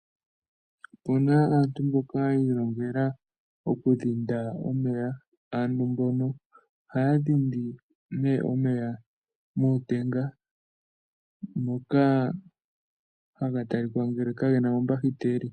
Opuna aantu mboka yi ilongela oku dhinda omeya. Aantu mbono ohaya dhindi nee omeya mootenga moka haga talika ngele ka gena omahiteli.